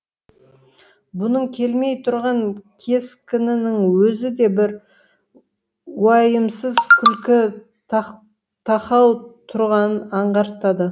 бұның күлмей тұрған кескінінің өзі де бір уайымсыз күлкі тақау тұрғанын аңғартады